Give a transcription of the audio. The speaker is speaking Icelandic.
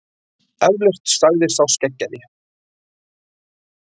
Eflaust, sagði sá skeggjaði.